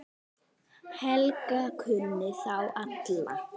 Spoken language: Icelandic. Helga kunni þá alla.